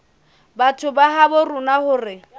batho ba habo rona hore